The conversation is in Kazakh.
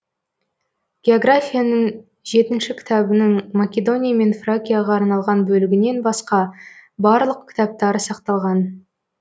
географияның жетінші кітабының македония мен фракияға арналған бөлігінен басқа барлық кітаптары сақталған